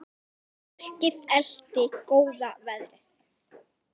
Fólkið elti góða veðrið.